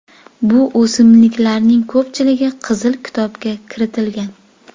Bu o‘simliklarning ko‘pchiligi Qizil kitobga kiritilgan.